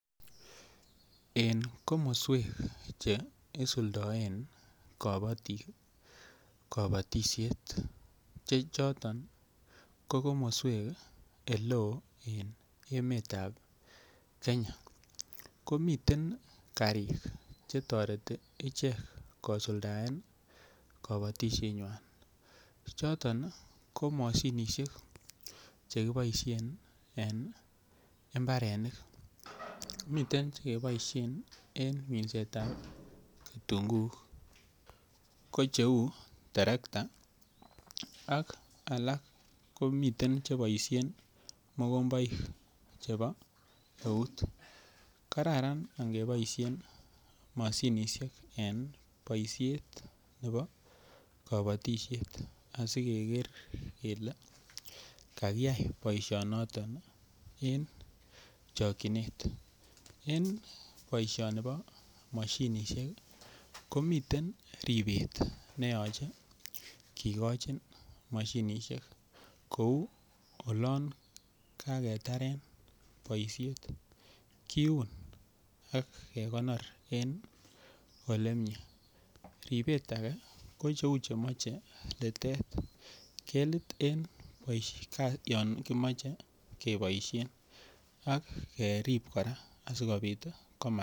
En komoswek Che isuldoen kabatik kabatisiet Che choton ko komoswek oleo en emetab Kenya ko miten karik Che toreti ichek kosuldaen kabatisienywa choton ko mashinisiek Che keboisien en mbarenik miten Che keboisien en minsetab kitunguuk ko cheu terekta ak alak komiten Che boisien mokomboik chebo eut kararan angeboisien mashinisiek en boisiet nebo kabatisiet asi keger kele kakiyai boisinoton en chokyinet en boisioni bo mashinisiek ko miten ribet ne yoche kigochin mashinisiek kou olon kagetaren boisiet kiun ak kekonor en Ole mie ribet age ko cheu Che moche litet kelit en yon kimoche keboisien ak kerib kora asikobit komatil bik